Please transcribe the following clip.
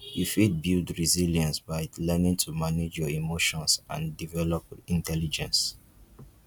you fit build resilience by learning to manage your emotions and develop intelligence